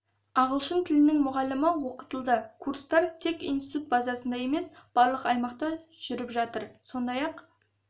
ағылшын тілінің мұғалімі оқытылды курстар тек институт базасында емес барлық аймақта жүріп жатыр сондай-ақ